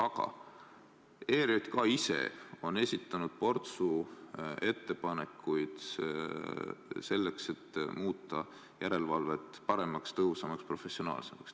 Aga ERJK ise on esitanud portsu ettepanekuid selleks, et muuta järelevalvet paremaks, tõhusamaks ja professionaalsemaks.